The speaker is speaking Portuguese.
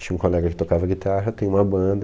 Tinha um colega que tocava guitarra, tem uma banda.